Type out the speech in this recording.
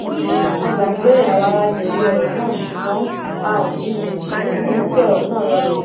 a gbà pé àwa la jèbi òrò náà ṣùgbón a ò jinyàn èyí sì mú kí ọrọ náà rọlè